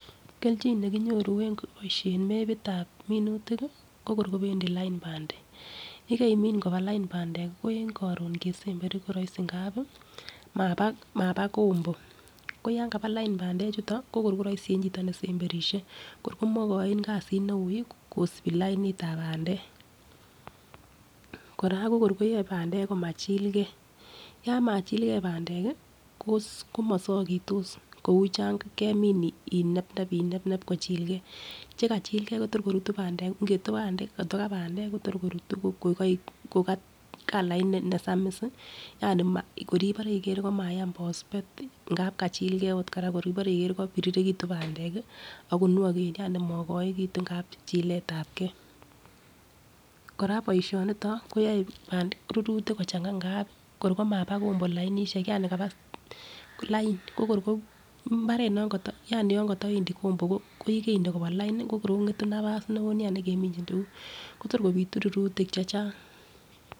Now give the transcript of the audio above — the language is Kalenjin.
Keljin nekinyoru en keboishen mepitab minutik ko kor kopendii lain pandek, yekeimin koba lain pandek ko en korun kesemberi ko roisi ngapi maba maba kombo ko yon kaba lain pandek chuton ko kor koroisi en chito ne semberishe ko kor komokoin kasit neui kosibi lainitab pandek. Koraa ko kor koyoe pandek komachillgee , yon machilgee pandek kii komosokitos kou Chon kemin inebnep inebnep kochilgee. Chekachillgee Kotor korutu pandek Koto ka pendek Kotor korutu ko kokoik ko kalait nesamiss yani kor ibore iker komayam pospet ngap kachigee ot Koraa kor inoker iker ko kopirirenitun pandek kii ako ngwoken yani mogoekitun ngap chiletabgee . Koraa boishoniton koyoe pandek rurutik kochanga ngap kor komaba kombo lainishek yani kor kokaba lain kokor ko imbaret nokoto yani yon koto wendii kombo ko yekende koba lin ko kor kongetun nabas neo nia nekeminchin tukuk Kotor kopitu rurutik chechang.